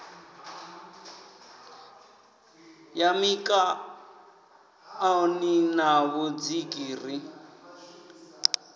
ya mikaṋoni na vhudziki ri